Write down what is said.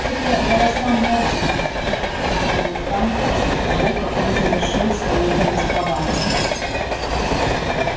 это голоса мёртвых тихо промолвил хан после того как он завершил своё повествование